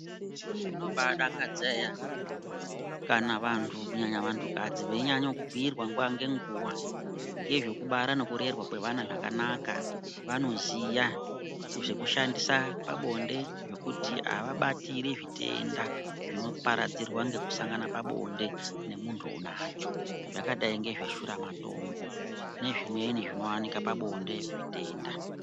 Zvinobaadakadza eya kana vanhu kunyanya vanhukadzi veinyanye kubhuyirwa nguwa nenguwa ngezvekubara nekurerwa kwevana zvakanaka vanoziya zvekushandisa pabonde zvekuti avabatiri zvitenda zvinoparadzirwa ngekusangana pabonde nemunhu unacho zvakadai ngezveshuramatongo nezvimweni zvinowanike pabonde zvitenda.